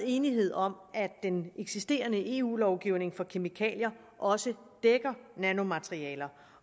enighed om at den eksisterende eu lovgivning for kemikalier også dækker nanomaterialer